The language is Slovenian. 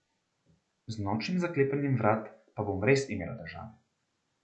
Z nočnim zaklepanjem vrat pa bom res imela težave.